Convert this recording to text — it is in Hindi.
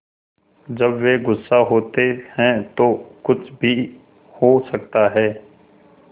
जब वे गुस्सा होते हैं तो कुछ भी हो सकता है